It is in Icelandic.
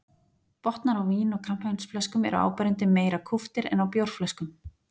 Botnar á vín- og kampavínsflöskum eru áberandi meira kúptir en á bjórflöskum.